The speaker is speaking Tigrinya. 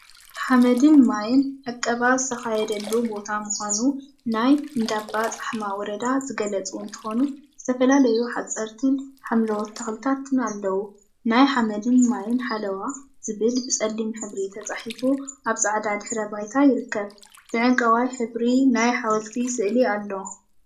ሓመድን ማይን ዕቀባ ዝተካየደሉ ቦታ ምኳኑ ናይ እንዳባ ፃሕማ ወረዳ ዝገለፁ እንትኮኑ፤ ዝተፈላለዩ ሓፀርቲን ሓምለዎት ተክሊታት አለው፡፡ ናይ ሓመድን ማይን ሓለዋ ዝብል ብፀሊም ሕብሪ ተፃሒፉ አብ ፃዕዳ ድሕረ ባይታ ይርከብ፡፡ ብዕንቋይ ሕብሪ ናይ ሓወልቲ ስእሊ አሎ፡፡